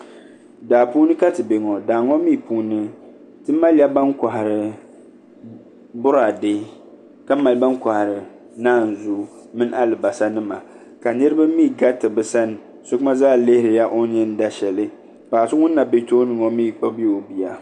Daa puuni ka ti bɛ ŋo daa ŋo mii puuni ti malila ban kohari Boraadɛ ka mali ban kohari naanzuu mini alibarisa nima ka niraba mii gariti bi sani so gba zaa lihirila o ni yɛn da shɛli paɣa so ŋun na bu tooni ŋo mii kpabila o bia